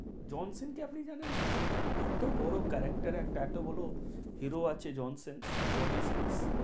Johnson's কে আপনি জানেন না? এতো বড়ো character এতো বড়ো hero আছে, জনসেন্স জনিসেন্স